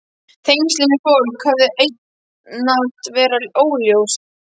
Tengslin við fólk höfðu einatt verið óljós.